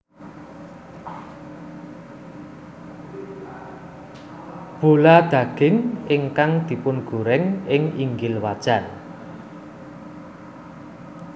Bola daging ingkang dipungoreng ing inggil wajan